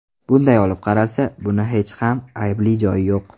Bunday olib qaralsa, buni hech ham aybli joyi yo‘q.